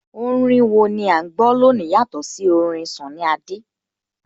Orin wo ni à ń gbọ́ lónìí yàtọ̀ sí orin Sunny Adé?